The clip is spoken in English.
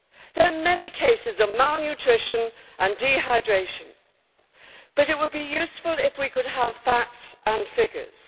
There are many cases of malnutrition and dehydration, but it would be useful if we could have facts and figures.